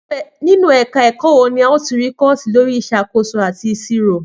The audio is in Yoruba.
Nínú ẹ̀ka ẹ̀kọ́ wo ni ẹ ó ti rí àwọn kọ́ọ̀sì lórí ìṣàkóso àti ìṣirò?